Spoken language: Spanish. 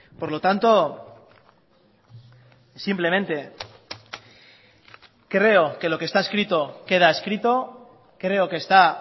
por lo tanto simplemente creo que lo que está escrito queda escrito creo que está